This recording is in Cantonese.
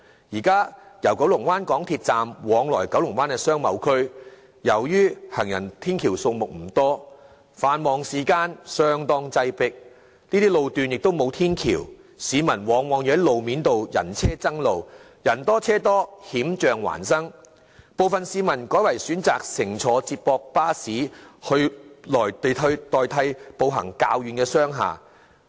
現時由九龍灣港鐵站往來九龍灣商貿區，由於行人天橋數目不多，繁忙時間相當擠迫，這些路段沒有天橋，市民往往要在路面步行，人車爭路，人多車多，險象環生，部分市民改為選擇乘坐接駁巴士代替步行前往較遠的商廈。